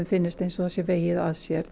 finnist eins og það sé vegið að sér